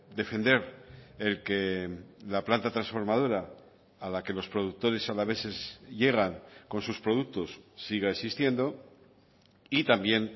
defender el que la planta transformadora a la que los productores alaveses llegan con sus productos siga existiendo y también